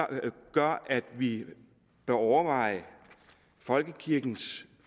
gør at vi bør overveje folkekirkens